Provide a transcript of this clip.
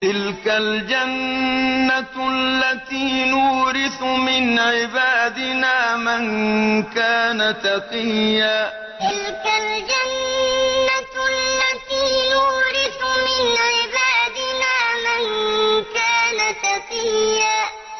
تِلْكَ الْجَنَّةُ الَّتِي نُورِثُ مِنْ عِبَادِنَا مَن كَانَ تَقِيًّا تِلْكَ الْجَنَّةُ الَّتِي نُورِثُ مِنْ عِبَادِنَا مَن كَانَ تَقِيًّا